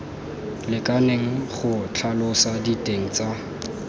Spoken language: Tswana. lekaneng go tlhalosa diteng tsa